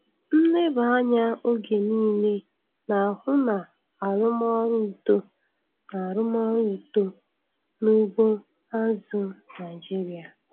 Nleba anya oge niile na-ahụ na arụmọrụ uto na arụmọrụ uto na ugbo azụ̀ Naịjiria.